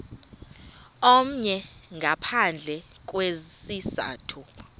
omnye ngaphandle kwesizathu